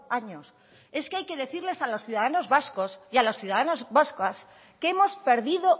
años es que hay que decirles a los ciudadanos vascos y a las ciudadanas vascas que hemos perdido